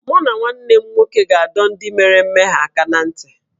Mụ na nwanne m nwoke ga-adọ ndị mere mmehie aka ná ntị